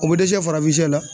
O be dɛsɛ farafinsɛ la